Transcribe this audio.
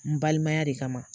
N balimaya de kama.